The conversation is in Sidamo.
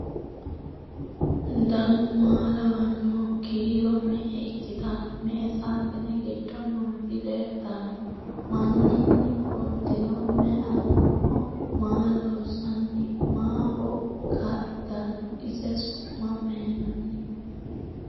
Dannu maa lawannoho? Kiiro me'e ikkitanno? Me'e saaxine giddo nootti leelittanno? Maninni fulittinno? May aninno? Maa loosanni? Maaho kaa'littanno? Ise su'ma mayiinnanni?